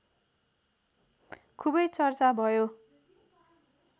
खुबै चर्चा भयो